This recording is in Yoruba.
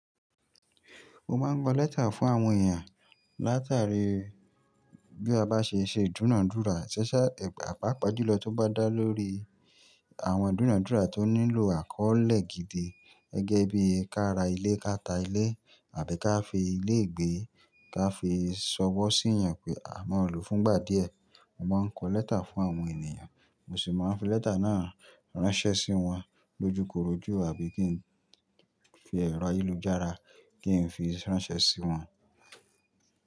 Mo máa ń gbo lẹ́tà fún àwọn èèyàn látàrí bí a bá ṣe ṣe ìdúnàádúrà ṣíṣé, àpápa júlọ tó bá dá lórí àwọn ìdúnàádúrà tó nílò àkọ́ọ̀lẹ̀ gidi gẹ́gẹ́ bí ká ra ilé, ká ta ilé àbí ká fi ilé gbé, ká fi sọwọ́ sí èèyàn pé a máa lò fún ìgbà díẹ̀. Mo máa ń kọ lẹ́tà fún àwọn ènìyàn, mo sì máa ń fi lẹ́tà náà ránṣẹ́ sí wọn lójúkorojú àbí kí n fi ẹ̀rọ àyélú-jára kí n fi ránṣẹ́ sí wọn.